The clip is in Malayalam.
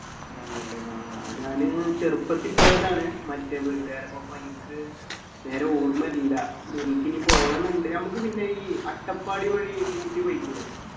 തന്നെല്ലേ ആഹ് ഞാന് ചെറുപ്പത്തിൽ പോയതാണ് മറ്റേ വീട്ട്കാരൊപ്പം അപ്പൊ ഇൻക് നേരെ ഓർമ്മ ഇല്ല എനിക്കിനി പോകണംന്നുണ്ട് നമ്മക്ക് പിന്നെ ഈ അട്ടപ്പാടി വഴി ഊട്ടി പൊയ്ക്കൂടേ